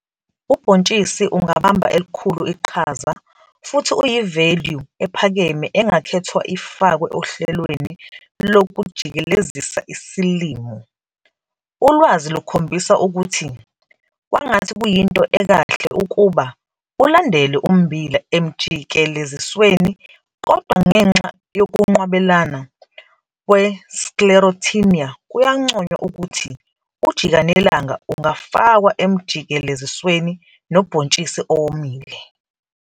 Ubhontshisi ungabamba elikhulu iqhaza futhi uyi-value ephakeme engakhethwa ifakwe ohlelweni lokujikelezisa isilimo. Uwazi lukhombisa ukuthi kwangathi kuyinto ekahle ukuba ulandele ummbila emjikelezisweni kodwa ngenxa yokunqwabelana kwe-Sclerotinia kuyanconywa ukuthi ujikanelanga ungafakwa emjikelezisweni nobhontshisi owomile.